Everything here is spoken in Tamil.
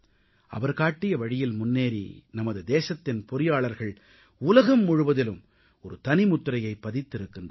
அவர் காட்டிய வழியில் முன்னேறி நமது தேசத்தின் பொறியாளர்கள் உலகம் முழுவதிலும் ஒரு தனி முத்திரையைப் பதித்திருக்கிறார்கள்